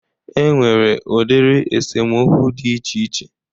E nwere udiri esemokwu dị iche iche